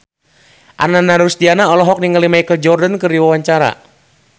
Ananda Rusdiana olohok ningali Michael Jordan keur diwawancara